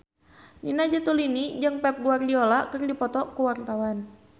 Nina Zatulini jeung Pep Guardiola keur dipoto ku wartawan